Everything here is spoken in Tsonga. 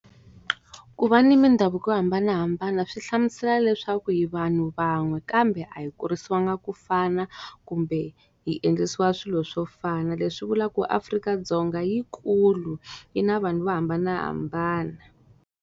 Ku va ni mindhavuko yo hambanahambana swi hlamusela leswaku hi vanhu van'we kambe a hi kurisiwanga ku fana, kumbe hi endlisiwa swilo swo fana. Leswi vula ku Afrika-Dzonga i yi kulu, yi na vanhu vo hambanahambana.